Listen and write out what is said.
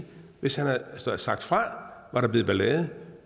hvis han havde sagt fra var der blevet ballade